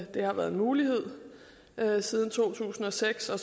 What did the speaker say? det har været en mulighed siden to tusind og seks og